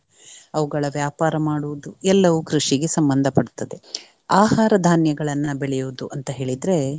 ಅವುಗಳ ವ್ಯಾಪಾರ ಮಾಡುವುದು ಎಲ್ಲವೂ ಕೃಷಿಗೆ ಸಂಬಂಧ ಪಡ್ತದೆ. ಆಹಾರ ಧಾನ್ಯಗಳನ್ನ ಬೆಳೆಯುವುದು ಅಂತ ಹೇಳಿದ್ರೆ